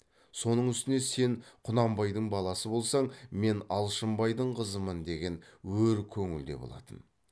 соның үстіне сен құнанбайдың баласы болсаң мен алшынбайдың қызымын деген өр көңіл де болатын